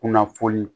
Kunnafoni